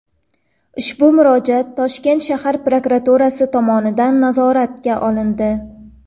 Ushbu murojaat Toshkent shahar prokuraturasi tomonidan nazoratga olindi.